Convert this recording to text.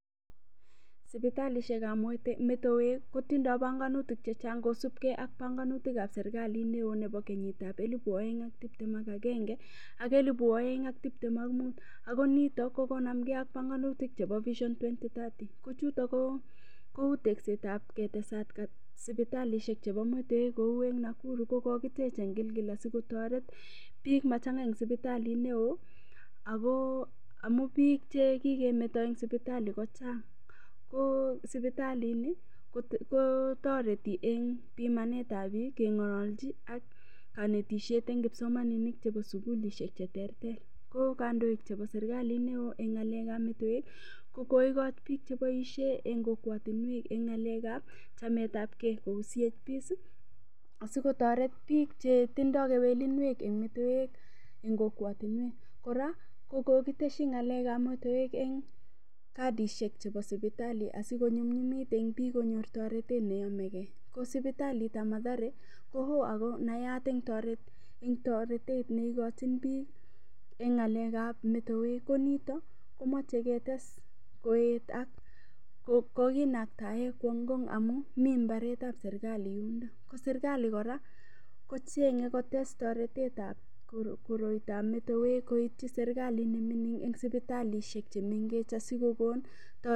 Sipitalishekab metewek kotindoi bonganutik chechang' kusubgei ak bonganutikab serikali neo nebo kenyitab elibu oeng' ak tiptem agenge ak elibu oeng' ak tiptem ak muut ako nito kokonamgei ak banganutik chebo vision 2030 kochuro kou teksetab ketesat sipitalishek chebo metewek kou eng' Nakuru kokokitech eng' Gilgil asiketoret biik machang'a eng' sipitaliit neo ako amu biik chekikemeto eng' sipitali ko chang' ko sipitalini kotoreti eng' pimanetab biik keng'ololji ak kanetishet eng' kipsomaninik chebo sukulishek cheterter ko kandoik chebo serikali neo eng' ng'alekab metewek kokoikoch biik cheiboishe eng' kokwotinwek eng' ng'alekab chametab gei kou CHPs] asiketoret biik chetindoi kewelinwek eng' metewe eng' kokwotinwek kora kukokoteshi ng'alekab metewek eng' kadishek chebo sipitali asikonyumyumit eng' biik konyoru toretet neomegei ko sipitalitab mathare ko oo akonayat eng' neikojin biik eng' ng'alekab metewek ko nito komachei ketes koet ak kokinaktae kowo Ngong' amu mi mbaretab serikali yundo ako serikali kora kochenyeinkotes toretetab koristoab metewek koityi serikalit nemining' eng' sipitalishek chemengech asikokon toretet